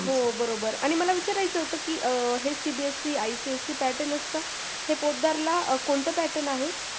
हो बरोबर आणि मला विचारायचं होतं की अं हे cbse ipsc pattern असतं हे पोतदारला कोणतं pattern आहे